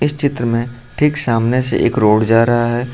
इस चित्र में ठीक सामने से एक रोड जा रहा है।